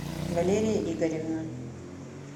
валерия игоревна